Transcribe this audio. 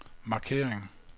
markering